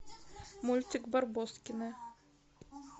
мультик барбоскины